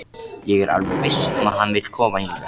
Ég er alveg viss um að hann vill koma hingað.